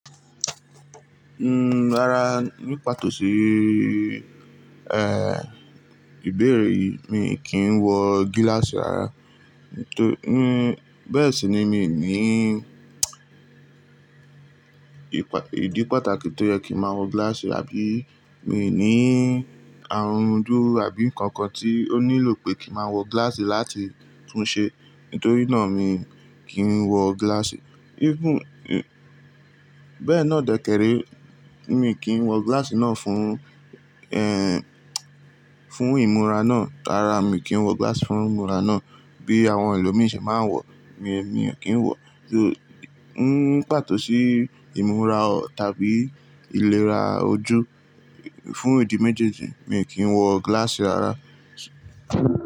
Mm, rárá, ní pàtó sì, eh, ìbéèrè yìí mi kí ń wọ gíláàsì rárá. Nítorí, bẹ́ẹ̀ sì ni mi ní ìdí pàtàkì tó yẹ kí máa wọ gíláàsì àbí mi ní àrùn ojú àbí nǹkan kan tí ó nílò pé kí máa wọ gíláàsì láti tún un ṣe nítorí náà mi kí ń wọ gíláàsì. Even, bẹ́ẹ̀ náà dèkèrè mi kí ń wọ gíláàsì náà fún, eh, fún ìmúra náà. Rárá, mi kì í wọ gíláàsì fún ìmúra náà bí àwọn ẹlòmíràn ṣe máa ń wọ, mi, mi ò kí ń wọ. Ní pàtó sì ìmúra tàbí ìlera ojú fún ìdí méjèèjì mi kì í wọ gíláàsì rárá.